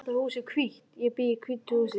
Þetta hús er hvítt. Ég bý í hvítu húsi.